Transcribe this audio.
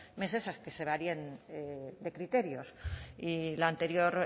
meses a que se varíen criterios y la anterior